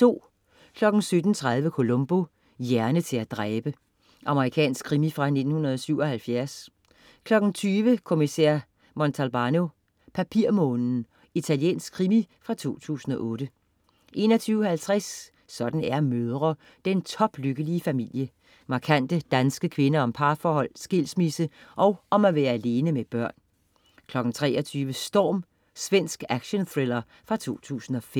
17.30 Columbo: Hjerne til at dræbe. Amerikansk krimi fra 1977 20.00 Kommissær Montalbano: Papirmånen. Italiensk krimi fra 2008 21.50 Sådan er mødre. Den toplykkelige familie. Markante danske kvinder om parforhold, skilsmisse og om at være alene med børn 23.00 Storm. Svensk actionthriller fra 2005